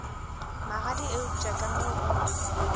magadi eupša ka mo o